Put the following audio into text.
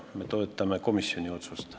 Me toetame komisjoni otsust.